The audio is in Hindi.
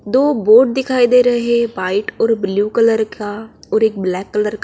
दो बोट दिखाई दे रही है वाइट और ब्लू कलर का और एक ब्लैक कलर का --